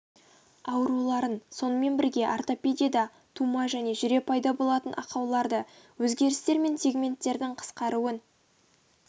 ауруларын сонымен бірге ортопедияда да тума және жүре пайда болатын ақауларды өзгерістер мен сегменттердің қысқаруын